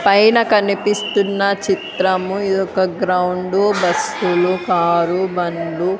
పైన కనిపిస్తున్న చిత్రము ఇదొక గ్రౌండు బస్సులు కారు బండ్లు--